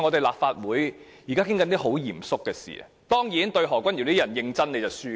立法會正在討論很嚴肅的事情，但面對何君堯議員這種人，認真便輸了。